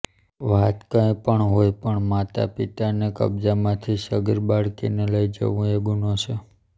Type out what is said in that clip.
વાત કઈ પણ હોય પણ માતા પિતાને કબ્જામાંથી સગીર બાળકીને લઈ જવું એ ગુનો છે